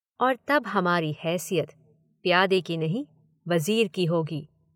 और तब हमारी हैसियत प्यादे की नहीं वजीर की होगी।